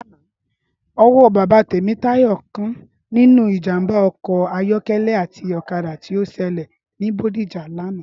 Ọwọ́ bàbá Temitayo kan nínú ìjàmbá ọkọ̀ ayọ̀kẹ́lẹ́ àti ọ̀kadà tí ó ṣẹlẹ̀ ní Bodija lánàá